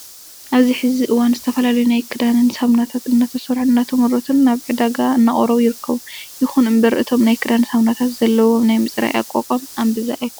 ኣብዚ ሕዚ እዋን ዝተፈላለዩ ናይ ክዳን ሳሙናታት እናተሰርሑን እናተመረቱን ናብ ዕዳጋ እናቀረቡ ይርከቡ። ይኹን እምበር እቶም ናይ ክዳን ሳሙናታት ዘለዎም ናይ ምፅራይ ኣቅሞም እምብዛ ኣይኾነን።